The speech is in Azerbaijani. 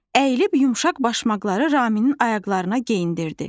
Əyilib yumşaq başmaqları Ramimin ayaqlarına geyindirdi.